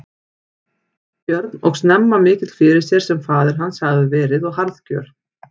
Björn og snemma mikill fyrir sér sem faðir hans hafði verið og harðgjör.